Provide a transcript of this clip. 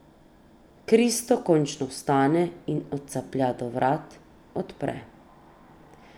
Kristo končno vstane in odcaplja do vrat, odpre.